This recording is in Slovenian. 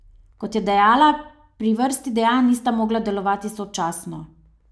Kot je dejala, pri vrsti dejanj nista mogla delovati sočasno.